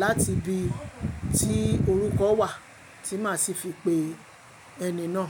láti ibi tí orúkọ wà tí màá sì fi pe ẹni náà.